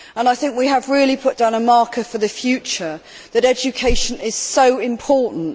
I think we have really put down a marker for the future that education is extremely important.